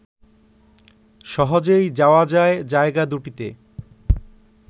সহজেই যাওয়া যায় জায়গা দুটিতে